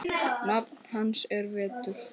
Nafn hans er Vetur.